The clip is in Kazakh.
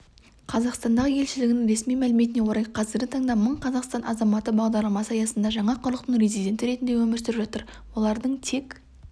қазақстандағы елшілігінің ресми мәліметіне орай қазіргі таңда мың қазақстан азаматы бағдарламасы аясында жаңа құрлықтың резиденті ретінде өмір сүріп жатыр олардың тек